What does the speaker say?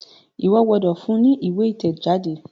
Iwọ gbódò fún ní ìwé itẹjade!